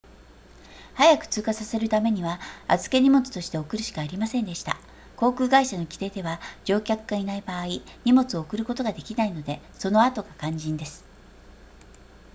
早く通過させるためには預け荷物として送るしかありませんでした航空会社の規定では乗客がいない場合荷物を送ることができないのでその後が肝心です